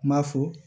N m'a fɔ